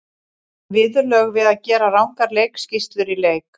Viðurlög við að gera rangar leikskýrslur í leik?